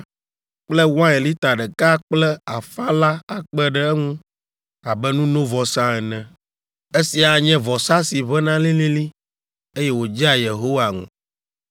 kple wain lita ɖeka kple afã la akpe ɖe eŋu abe nunovɔsa ene. Esia anye vɔsa si ʋẽna lĩlĩlĩ, eye wòdzea Yehowa ŋu.